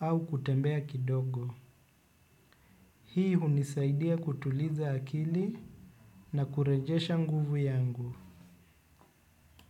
au kutembea kidogo. Hii hunisaidia kutuliza akili na kurejesha nguvu yangu.